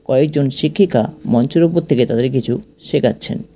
কয়েকজন শিক্ষিকা মঞ্চের উপর থেকে তাদের কিছু শেখাচ্ছেন।